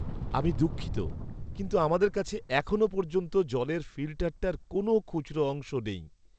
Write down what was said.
আমি দুঃখিত কিন্তু আমাদের কাছে এখনও পর্যন্ত জলের ফিল্টারটার কোনও খুচরো অংশ নেই।